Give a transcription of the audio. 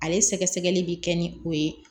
Ale sɛgɛsɛgɛli bɛ kɛ ni o ye